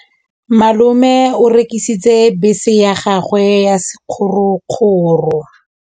Malome o rekisitse bese ya gagwe ya sekgorokgoro.